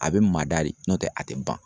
A bɛ mada de n'o tɛ a tɛ ban.